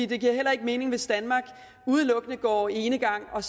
det giver heller ikke mening hvis danmark udelukkende går enegang og